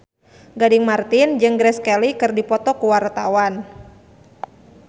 Gading Marten jeung Grace Kelly keur dipoto ku wartawan